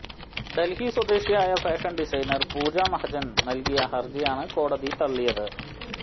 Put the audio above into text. ഡൽഹി സ്വദേശിയായ fashion designer Pooja Mahajan നൽകിയ ഹർജിയാണ് കോടതി തള്ളിയത്